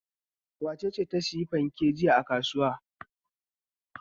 Wace ce ta sayi fanke jiya a kasuwa?